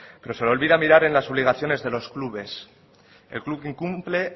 pero se le olvida mirar en las obligaciones de los clubes